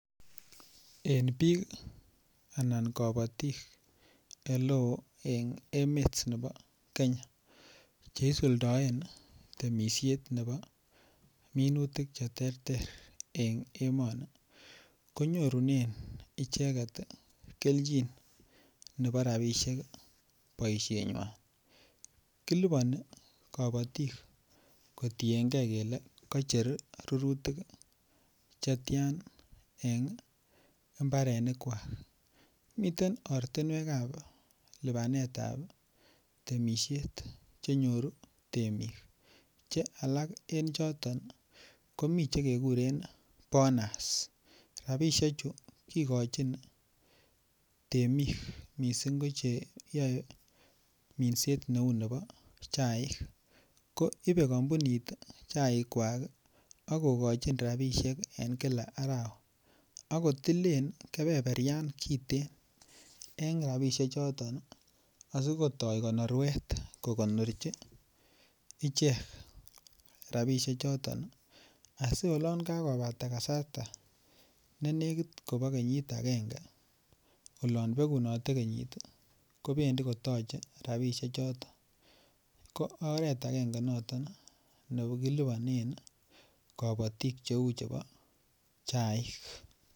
En bik Alan kabatik oleo en emet nebo Kenya Che isuldoen temisiet nebo minutik Che terter en emoni konyorunen icheget kelchinoik nebo rabisiek boisienywa kiliponi kabatik kotienge kele kocher rurutik Che tian en mbarenikwak miten oratinwek ab lipanetap temisiet Che nyoru temik Che alak en choton choton ko mi Che kekuren bonas rabisiechu kigochin temik mising ko Che yoe minset neu nebo chaik ko ibe kampunit chaikwak ak kogochin rabisiek en kila arawa akotilen keberberyan kiten en rabisiechuto asi kotoi konoruet kogonorchi ichek rabisiechuto asi olon kakobata kasarta ne nekit kobo kenyit agenge oloon begunote kenyit kobendi ko toche rabisiechuto ko oret agenge noton ne kilipanen kabatik Cheu chebo chaik